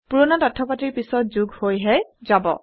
পুৰণা তথ্যপাতিৰ পিছত যোগ হৈ হে যাব